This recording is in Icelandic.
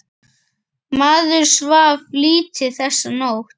Maður svaf lítið þessa nótt.